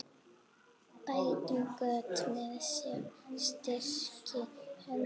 Bætum göt með styrkri hönd.